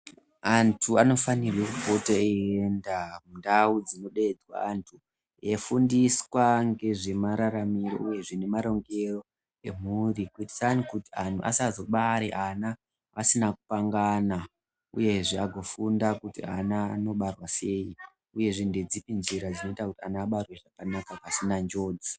Anthu anofanirwe kupote eienda kundau dzinodeedzwa anthu eifundiswa ngezvemararamiro uyezve nemarongero emhuri kutisani kuti anthu asazobare ana asina kupangana uyezve agofunda kuti ana anobarwa sei uyezve ndedzipi njira dzinoita kuti ana abarwe zvakanaka pasina njodzi.